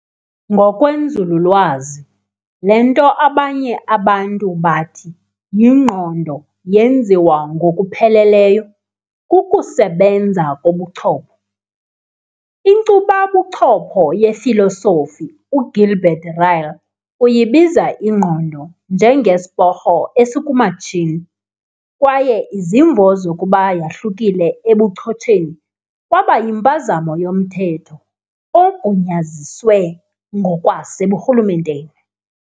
Ngokwenzululwazi, le nto abanye abantu bathi yingqondo yenziwa "ngokupheleleyo" kukusebenza kobuchopho. Inkcuba buchopho yefilosofi uGilbert Ryle uyibiza ingqondo njenge"Sporho esikumatshini", kwaye izimvo zokuba yahlukile ebuchotsheni kwaba yimpazamo yo"Mthetho ogunyaziswe ngokwaseburhulumenteni ".